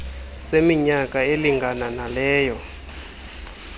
seminyaka elingana naleyo